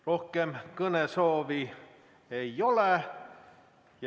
Rohkem kõnesoove ei ole.